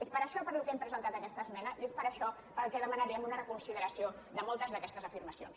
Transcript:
és per això per què hem presentat aquesta esmena i és per això per què demanaríem una reconsideració de moltes d’aquestes afirmacions